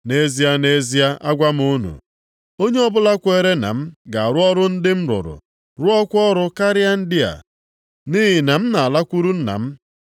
Nʼezie, nʼezie, agwa m unu, onye ọbụla kwere na m ga-arụ ọrụ ndị m rụrụ, rụọkwa ọrụ karịrị ndị a, nʼihi na m na-alakwuru Nna m.